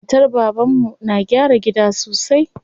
Matar baban mu na gyara gida sosai.